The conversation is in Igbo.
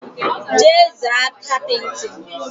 Jee zaa kapịtịn!